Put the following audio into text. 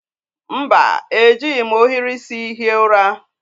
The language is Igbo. Mba, ejighi m ohiri isi hie ụra